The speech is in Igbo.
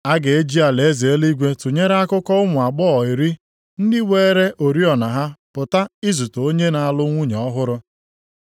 “A ga-eji alaeze eluigwe tụnyere akụkọ ụmụ agbọghọ iri ndị weere oriọna ha pụta izute onye na-alụ nwunye ọhụrụ.